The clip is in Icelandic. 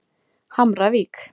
Hamravík